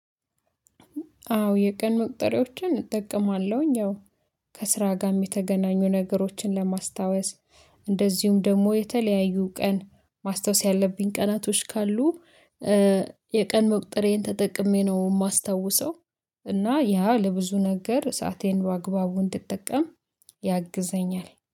አዎ የቀን መቁጠርያዎችን እጠቀማለሁኝ ያው ከስራ ጋም የተገናኙ ነገሮችን ለማስታወስ እንደዚሁም ደግሞ የተለያዩ ቀን ማስታወስ ያለብኝ ቀናቶች ካሉ የቀን መቁጠሪያየን ተጠቅሜ ነው የማስታውሰው። እና ያ ለብዙ ነገር ሰአቴን በአግባቡ እንድጠቀም ያግዘኛል